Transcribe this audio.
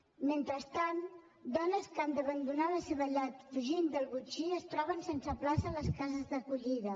mentrestant dones que han d’abandonar la seva llar per fugir del botxí es troben sense plaça a les cases d’acollida